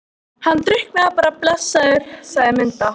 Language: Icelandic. Hann drukknaði bara blessaður, sagði Munda.